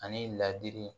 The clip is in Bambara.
Ani ladili